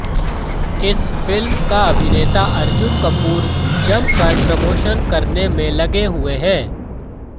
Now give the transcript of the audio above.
इस फिल्म का अभिनेता अर्जुन कपूर जमकर प्रमोशन करने में लगे हुए है